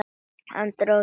Hann dró djúpt andann.